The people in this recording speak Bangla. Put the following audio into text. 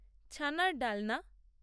ছানার ডালনা